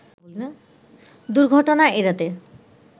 দুর্ঘটনা এড়াতে